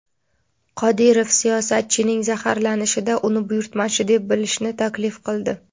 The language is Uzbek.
Qodirov siyosatchining zaharlanishida uni buyurtmachi deb bilishni taklif qildi.